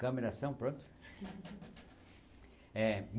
Câmera, ação, pronto. eh